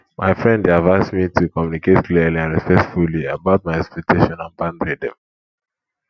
my friend dey advise me to communicate clearly and respectfully about my expectation and boundary dem